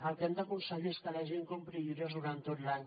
el que hem d’aconseguir és que la gent compri llibres durant tot l’any